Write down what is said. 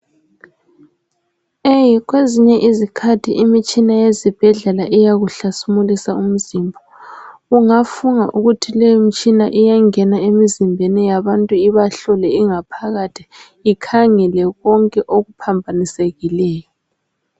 kwezinye izikhathi imitshina yezibhedlela iyawuhlasimulisa umzimba ungafunga ukuthi leyi mitshina iyangena emizimbeni yabantu ibahlole ingaphakathi ikhangele konke okuphambanisekileyo